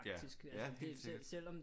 Ja ja helt sikkert